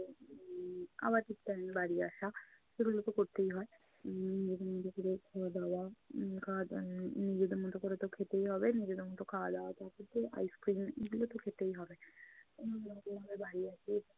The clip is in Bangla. উম আবার ঠিক time এ বাড়ি আসা। এগুলো তো করতেই হয়। উম নিজেদের মতো করে খাওয়া দাওয়া। উম খাওয়া দাওয়া এর নিজেদের মতো করে তো খেতেই হবে। নিজেদের মতো খাওয়া দাওয়া ice-cream এগুলো তো খেতেই হবে।